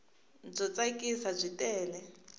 byo tsakisa byi tele